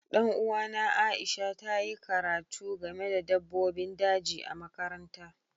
Dan uwana Aisha ta yi karatu game da dabbobin daji a makaranta.